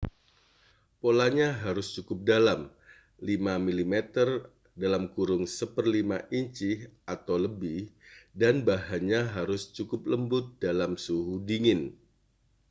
polanya harus cukup dalam 5 mm 1/5 inci atau lebih dan bahannya harus cukup lembut dalam suhu dingin